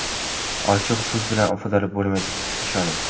Ochig‘i, so‘z bilan ifodalab bo‘lmaydi, ishoning.